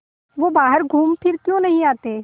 वे बाहर घूमफिर क्यों नहीं आते